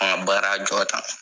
An ga baara jɔ tan